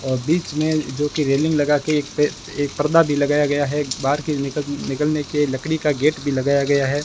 और बीच में जो की रेलिंग लगाके एक पर्दा भी लगाया गया है बाहर के निकलने के लकड़ी का गेट भी लगाया गया है।